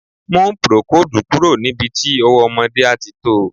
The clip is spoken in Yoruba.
Mú procoldù kúrò níbi tí ọwọ́ ọmọdé àti to.